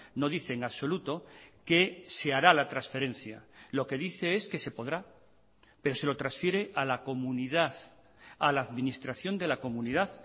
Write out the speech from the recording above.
no dice en absoluto que se hará la transferencia lo que dice es que se podrá pero se lo transfiere a la comunidad a la administración de la comunidad